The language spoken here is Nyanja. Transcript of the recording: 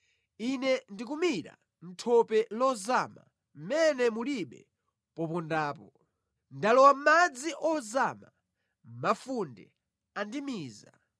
Ine ndikumira mʼthope lozama mʼmene mulibe popondapo. Ndalowa mʼmadzi ozama; mafunde andimiza.